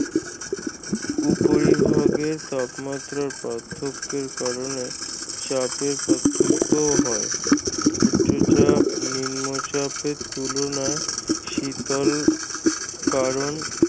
উপরিভাগের তাপমাত্রার পার্থক্যের কারণে চাপের পার্থক্যও হয়। উচ্চচাপ নিম্নচাপ এর তুলনায় শীতল কারণ